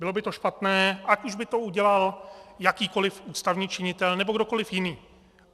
Bylo by to špatné, ať už by to udělal jakýkoliv ústavní činitel nebo kdokoliv jiný.